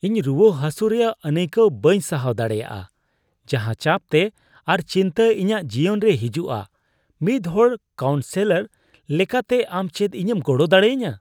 ᱤᱧ ᱨᱩᱣᱟᱹᱼᱦᱟᱹᱥᱩ ᱨᱮᱭᱟᱜ ᱟᱹᱱᱟᱹᱭᱠᱟᱣ ᱵᱟᱹᱧ ᱥᱟᱦᱟᱣ ᱫᱟᱲᱮᱭᱟᱜᱼᱟ ᱡᱟᱦᱟᱸ ᱪᱟᱯᱛᱮ ᱟᱨ ᱪᱤᱱᱛᱟᱹ ᱤᱧᱟᱹᱜ ᱡᱤᱭᱚᱱ ᱨᱮ ᱦᱤᱡᱩᱜᱼᱟ; ᱢᱤᱫ ᱦᱚᱲ ᱠᱟᱣᱩᱱᱥᱼᱥᱮᱞᱚᱨ ᱞᱮᱠᱟᱛᱮ, ᱟᱢ ᱪᱮᱫ ᱤᱧᱮᱢ ᱜᱚᱲᱚ ᱫᱟᱲᱮᱭᱟᱹᱧᱟᱹ ?